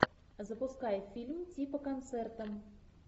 запускай фильм типа концерта